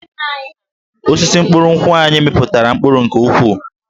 Osisi mkpụrụ nkwụ anyị mịpụtara mkpụrụ nke ukwuu